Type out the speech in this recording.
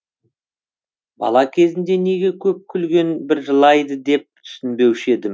бала кезімде неге көп күлген бір жылайды деп түсінбеуші едім